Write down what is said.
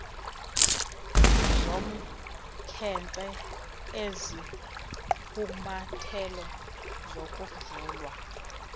zomkhenkce izigqumathelo zokuvulwa